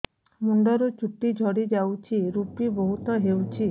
ମୁଣ୍ଡରୁ ଚୁଟି ଝଡି ଯାଉଛି ଋପି ବହୁତ ହେଉଛି